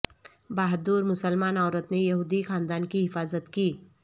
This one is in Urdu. بہادر مسلمان عورت نے یہودی خاندان کی حفاظت کی